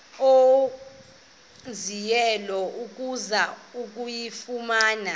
owenzileyo ukuzama ukuyifumana